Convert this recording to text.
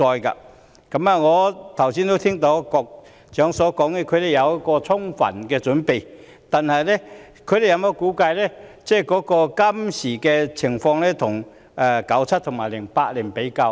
我剛才聽到局長說當局已有充分準備，但有否將現今的情況與1997年及2008年比較？